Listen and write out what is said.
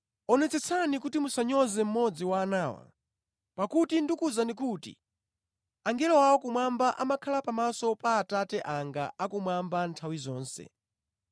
“Onetsetsani kuti musanyoze mmodzi wa anawa. Pakuti ndikuwuzani kuti angelo awo kumwamba amakhala pamaso pa Atate anga akumwamba nthawi zonse.”